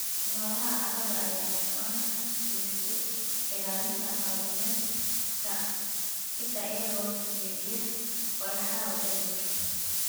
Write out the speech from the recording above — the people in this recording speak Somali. Noolaha carrada ayaa gacan ka geysta ilaalinta qaab dhismeedka ciidda iyagoo jebiya walxaha organic.